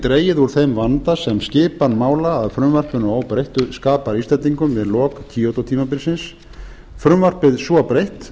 dregið úr þeim vanda sem skipan mála að frumvarpinu óbreyttu skapar íslendingum við lok kyoto tímabilsins frumvarpið svo breytt